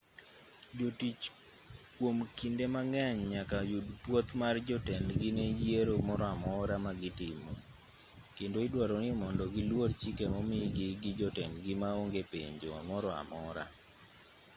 jotich kwom kinde mang'eny nyaka yud pwoth mar jotendgi ne yiero moro amora ma gitimo kendo idwaro ni mondo giluor chike momigi gi jotendgi ma onge penjo moro amora